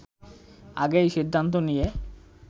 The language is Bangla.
আগেই সিদ্ধান্ত নিয়ে